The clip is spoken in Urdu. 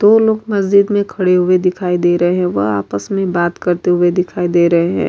دو لوگ مسجد مے کھڈے ہوئے دکھائی دے رہے ہے۔ وہ آپس مے بات کرتے ہوئے دکھائی دے رہے ہے۔